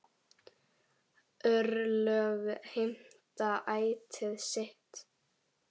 Örlög heimta ætíð sitt.